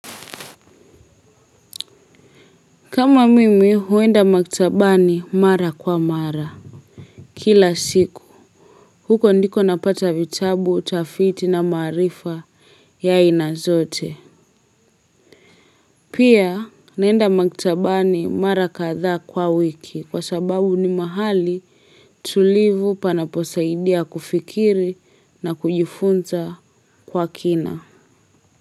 Kama mimi, huenda maktabani mara kwa mara. Kila siku. Huko ndiko napata vitabu, utafiti na maarifa ya aina zote. Pia, naenda maktabani mara kadhaa kwa wiki kwa sababu ni mahali tulivu panaposaidia kufikiri na kujifunza kwa kina.